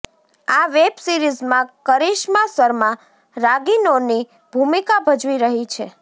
આ વેબ સીરીજમાં કરિશ્મા શર્મા રાગિનોની ભૂમિકા ભજવી રહી છે